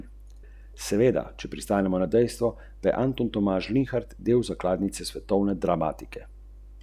Popoldne se je Andrej Jenstrle domov že vračal z lepo novico o naraščaju v Podporeznu.